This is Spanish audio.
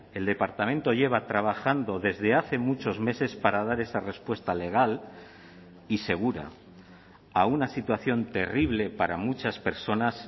el departamento lleva trabajando desde hace muchos meses para dar esa respuesta legal y segura a una situación terrible para muchas personas